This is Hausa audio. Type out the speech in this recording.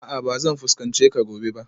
A'a ba zan fuskance ka gobe ba